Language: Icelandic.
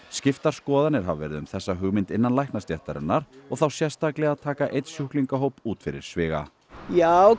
skiptar skoðanir hafa verið um þessa hugmynd innan læknastéttarinnar og þá sérstaklega að taka einn sjúklingahóp út fyrir sviga já